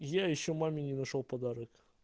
я ещё маме не нашёл подарок